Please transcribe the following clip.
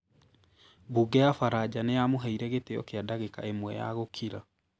Mbunge ya Faranja nĩ yamũheire gĩtĩo kĩa ndagĩka ĩmwe ya gũkira.